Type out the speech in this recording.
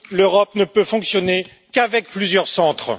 L'Europe ne peut fonctionner qu'avec plusieurs centres.